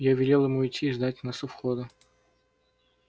я велел ему идти и ждать нас у выхода